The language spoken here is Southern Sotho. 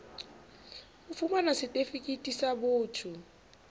ho fumana setifikeiti sa botho